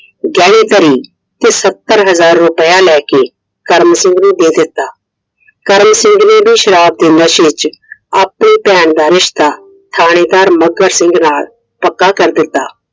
ਗਹਿਣੇ ਧਰੀ ਤੇ ਸੱਤਰ ਹਜ਼ਾਰ ਰੁਪਈਆ ਲੈ ਕੇ ਕਰਮ ਸਿੰਘ ਨੂੰ ਦੇ ਦਿੱਤਾ I ਕਰਮ ਸਿੰਘ ਨੇ ਵੀ ਸ਼ਰਾਬ ਦੇ ਨਸ਼ੇ ਵਿੱਚ ਆਪਣੀ ਭੈਣ ਦਾ ਰਿਸ਼ਤਾ ਥਾਣੇਦਾਰ ਮੱਘਰ ਸਿੰਘ ਨਾਲ ਪੱਕਾ ਕਰ ਦਿੱਤਾ I